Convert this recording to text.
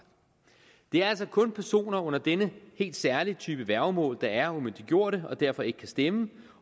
det er altså kun personer under denne helt særlige type værgemål der er umyndiggjorte og derfor ikke kan stemme